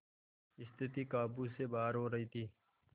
स्थिति काबू से बाहर हो रही थी